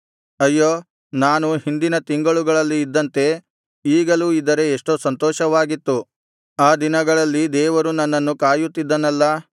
ಅಯ್ಯೋ ನಾನು ಹಿಂದಿನ ತಿಂಗಳುಗಳಲ್ಲಿ ಇದ್ದಂತೆ ಈಗಲೂ ಇದ್ದರೆ ಎಷ್ಟೋ ಸಂತೋಷವಾಗಿತ್ತು ಆ ದಿನಗಳಲ್ಲಿ ದೇವರು ನನ್ನನ್ನು ಕಾಯುತ್ತಿದ್ದನಲ್ಲಾ